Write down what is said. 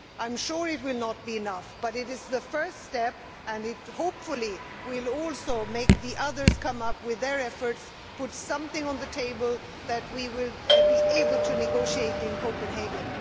I am sure it will not be enough, but it is the first step, and hopefully it will also make the others come up with their own efforts and put something on the table that we will be able to negotiate in Copenhagen.